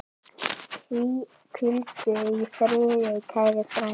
Hvíldu í friði, kæri frændi.